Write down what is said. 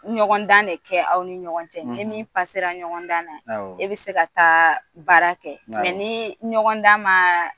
Ɲɔgɔn dan de kɛ aw ni ɲɔgɔn cɛ ni min ɲɔgɔn da na, e bi se ka taa baara kɛ, ni ɲɔgɔn da ma